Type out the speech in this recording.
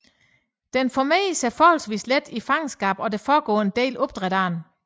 Den formerer sig forholdsvis let i fangenskab og der foregår en del opdræt af den